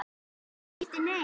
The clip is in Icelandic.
Eða bíddu, nei.